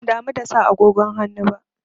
Ban damu da sa agogon hannu ba.